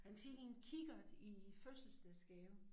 Han fik en kikkert i fødselsdagsgave